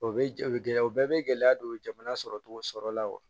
O bɛ jɛ o bɛ gɛlɛya o bɛɛ bɛ gɛlɛya don jamana sɔrɔcogo sɔrɔla la wa